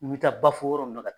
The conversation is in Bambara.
N taa Bafo yɔrɔ n na ka